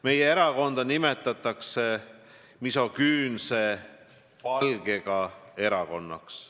Meie erakonda nimetatakse "misogüünse palgega" erakonnaks.